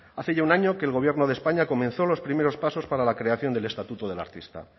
hace ya un año que el gobierno de españa comenzó los primeros pasos para la creación del estatuto del artista